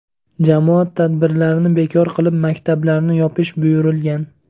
Jamoat tadbirlarini bekor qilib, maktablarni yopish buyurilgan.